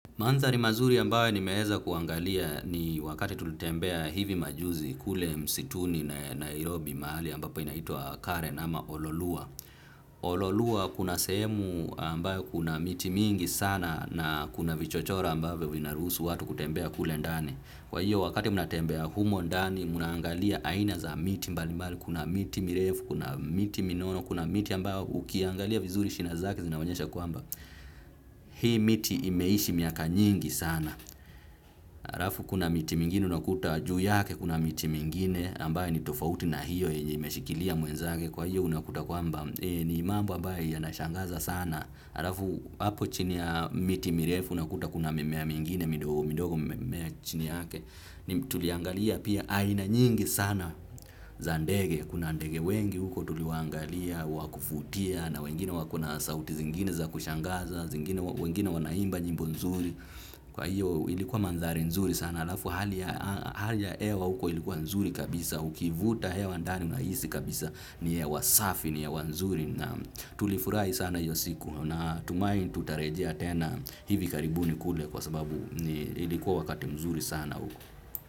Mandari mazuri ambayo ni meheza kuangalia ni wakati tulitembea hivi majuzi kule msituni na Nairobi mahali ambapo inaitua Karen ama ololua. Ololua kuna sehemu ambayo kuna miti mingi sana na kuna vichochora ambavyo vinarusu watu kutembea kule ndani. Kwa hiyo wakati muna tembea humo ndani munaangalia aina za miti mbali mbali kuna miti mirefu kuna miti minono kuna miti ambayo ukiangalia vizuri shina zake zinaonyesha kwamba. Hii miti imeishi miaka nyingi sana halafu kuna miti mingini unakuta juu yake kuna miti mingine ambayo ni tofauti na hiyo yenye imeshikilia mwenzake kwa hivyo unakuta kwamba ni mambo ambayo yanashangaza sana halafu hapo chini ya miti mirefu unakuta kuna mimea mingine midogo imemea chini yake ni tuliangalia pia aina nyingi sana za ndege kuna ndege wengi huko tuliwaangalia wa kuvutia na wengine wakona sauti zingine za kushangaza wengine wanaimba nyimbo nzuri kwa hiyo ilikuwa mandari nzuri sana alafu hali ya hewa huko ilikuwa nzuri kabisa ukivuta hewa ndani unahisi kabisa ni ya wasafi ni ya wazuri na tulifurahi sana hiyo siku na tumai tutarejea tena hivi karibuni kule kwa sababu ilikuwa wakati mzuri sana huko.